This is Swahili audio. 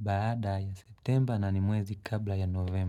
baada ya septemba na ni mwezi kabla ya novemba.